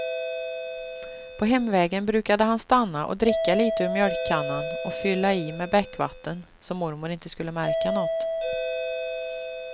På hemvägen brukade han stanna och dricka litet ur mjölkkannan och fylla i med bäckvatten, så mormor inte skulle märka något.